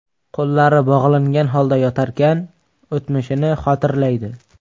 Qo‘llari bog‘langan holda yotarkan, o‘tmishini xotirlaydi.